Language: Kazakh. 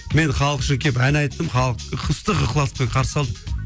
мен халық үшін келіп ән айттым халық ыстық ықыласпен қарсы алды